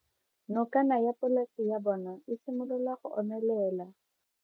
Nokana ya polase ya bona, e simolola go omelela.